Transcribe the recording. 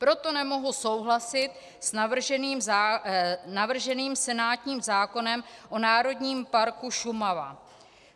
Proto nemohu souhlasit s navrženým senátním zákonem o Národním parku Šumava.